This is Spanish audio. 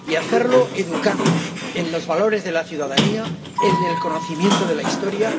y hacerlo educando en los valores de la ciudadanía, en el conocimiento de la historia